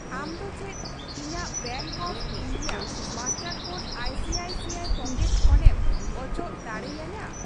ᱟᱢ ᱫᱚ ᱪᱮᱫ ᱤᱧᱟᱹᱜ bank of India master code ICICI pocket ᱠᱷᱚᱱᱮᱢ ᱚᱪᱚᱜ ᱫᱟᱲᱮᱭ ᱟᱹᱧᱟᱹ ?